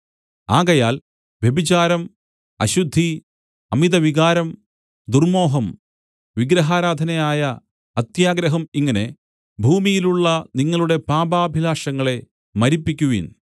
ആകയാൽ വ്യഭിചാരം അശുദ്ധി അമിതവികാരം ദുർമ്മോഹം വിഗ്രഹാരാധനയായ അത്യാഗ്രഹം ഇങ്ങനെ ഭൂമിയിലുള്ള നിങ്ങളുടെ പാപാഭിലാഷങ്ങളെ മരിപ്പിക്കുവീൻ